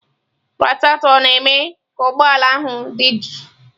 Radịatọ na-eme ka ụgbọ ala ahụ dị jụụ.